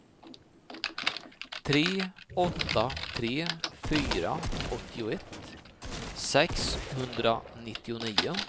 tre åtta tre fyra åttioett sexhundranittionio